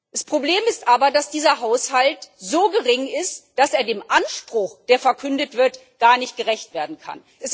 Das Problem ist aber, dass dieser Haushalt so gering ist, dass er dem Anspruch, der verkündet wird, gar nicht gerecht werden kann.